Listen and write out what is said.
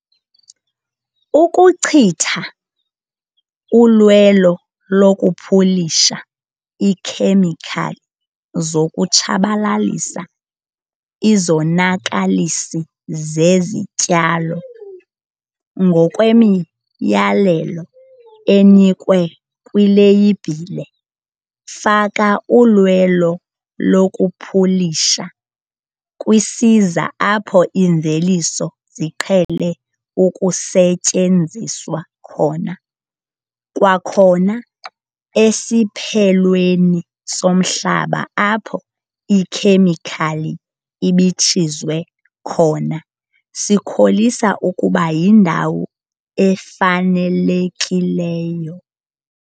Ukuchitha ulwelo lokupulisha iikhemikhali zokutshabalalisa izonakalisi zezityalo ngokwemiyalelo enikwe kwileyibhile, faka ulwelo lokupulisha kwisiza apho iimveliso ziqhele ukusetyenziswa khona, kwakhona, esiphelweni somhlaba apho ikhemikhali ibitshizwe khona sikholisa ukuba yindawo efanelekileyo.